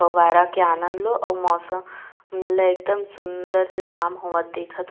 फहवारा का आनंद लो और मौसम एकदम सूंदर से साम होवत देखत--